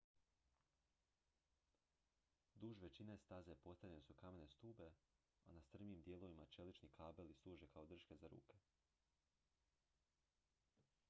duž većine staze postavljene su kamene stube a na strmijim dijelovima čelični kabeli služe kao drške za ruke